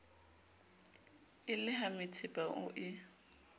e le hamethepa o e